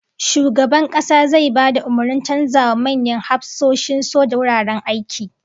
Shugaban Kasa zai ba da umurnin canzawa manyan hafsoshin soja wuraren aiki